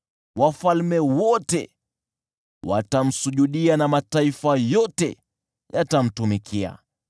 Wafalme wote watamsujudia na mataifa yote yatamtumikia.